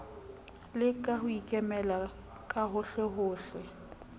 le ho ikemela ka hohlehohle